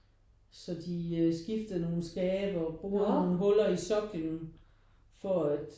Så de skiftede nogen skabe og borede nogen huller i sokkelen for at